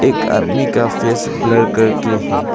एक आदमी का फेस ब्लर करके है।